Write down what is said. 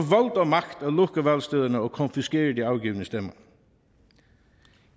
og magt at lukke valgstederne og konfiskere de afgivne stemmer